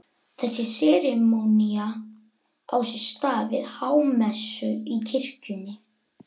Þessi serimónía á sér stað við hámessu í kirkjunni.